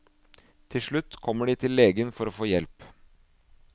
Til slutt kommer de til legen for å få hjelp.